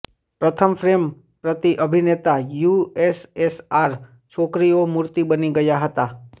પ્રથમ ફ્રેમ પ્રતિ અભિનેતા યુએસએસઆર છોકરીઓ મૂર્તિ બની ગયા હતા